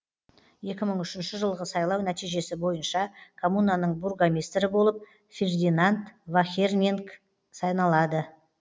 екі мың үшінші жылғы сайлау нәтижесі бойынша коммунаның бургомистрі болып фердинанд вахерниг саналады